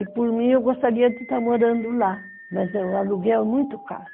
E por mim, eu gostaria de estar morando lá, mas o aluguel é muito caro.